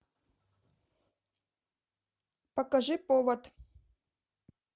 покажи повод